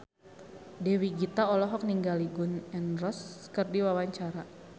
Dewi Gita olohok ningali Gun N Roses keur diwawancara